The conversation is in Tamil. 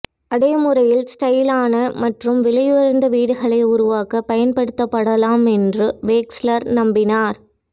அதே முறைகள் ஸ்டைலான மற்றும் விலையுயர்ந்த வீடுகளை உருவாக்க பயன்படுத்தப்படலாம் என்று வேக்ஸ்லர் நம்பினார்